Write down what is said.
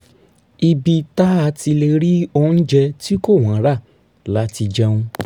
ibi tá a ti lè rí oúnjẹ tí kò wọ́n rà la ti jẹun